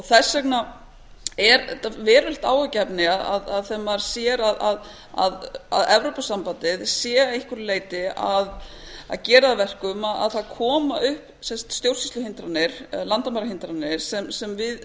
þess vegna er þetta verulegt áhyggjuefni þegar maður sér að evrópusambandið sé að einhverju leyti að gera það að verkum að það koma upp stjórnsýsluhindranir landamærahindranir sem við